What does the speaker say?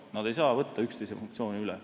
Nad ei saa võtta üksteise funktsioone üle.